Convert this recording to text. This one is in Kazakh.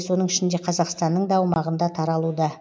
соның ішінде қазақстанның да аумағында таралуда